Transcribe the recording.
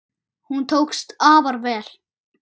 Hún tókst afar vel.